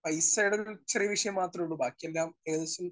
Speaker 1 പൈസയുടെ ഒരു ചെറിയ വിഷയം മാത്രേ ഉള്ളൂ. ബാക്കി എല്ലാം ഏകദേശം